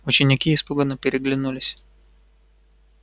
ученики испуганно переглянулись